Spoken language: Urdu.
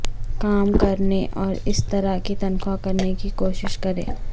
کام کرنے اور اس طرح کی تنخواہ کرنے کی کوشش کریں